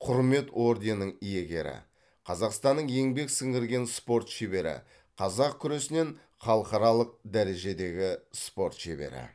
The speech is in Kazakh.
құрмет орденің иегері қазақстанның еңбек сіңірген спорт шебері қазақ күресінен халықаралық дәрежедегі спорт шебері